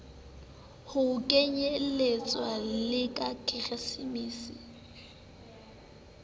ho kenyelletswa le la keresemese